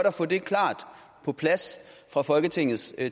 at få det klart på plads fra folketingets